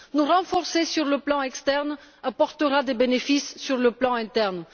Nous renforcer sur le plan externe apportera des bénéfices sur le plan interne.